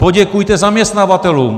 Poděkujte zaměstnavatelům.